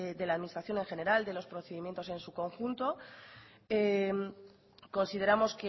de la administración en general de los procedimiento en su conjunto consideramos